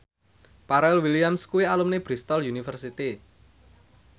Pharrell Williams kuwi alumni Bristol university